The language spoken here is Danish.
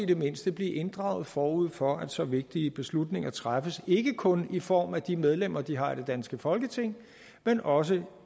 det mindste inddrages forud for at så vigtige beslutninger træffes ikke kun i form af de medlemmer de har i det danske folketing men også